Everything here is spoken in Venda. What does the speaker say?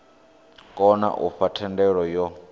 kona u fha thendelo yo